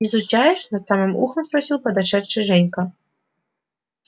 изучаешь над самым ухом спросил подошедший женька